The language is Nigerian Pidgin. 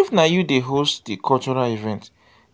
if na you dey host di cultural event